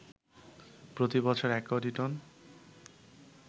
প্রতিবছর ১ কোটি টন